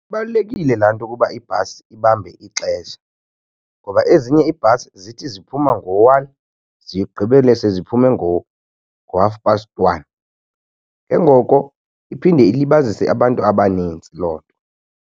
Balulekile laa nto ukuba ibhasi ibambe ixesha ngoba ezinye iibhasi zithi ziphuma ngo-one zigqibele seziphume ngoko ngo-half past one. Ke ngoko iphinde ilibazise abantu abanintsi loo nto.